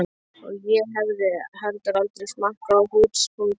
Og ég hefði heldur aldrei smakkað hrútspunga.